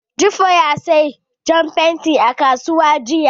Jibo ya saya jan fenti a kasuwa jiya.